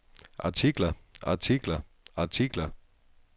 artikler artikler artikler